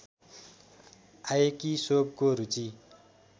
आएकी सोवको रुचि